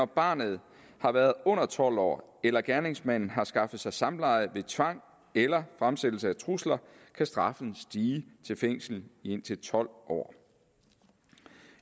barnet har været under tolv år eller hvis gerningsmanden har skaffet sig samleje ved tvang eller fremsættelse af trusler kan straffen stige til fængsel i indtil tolv år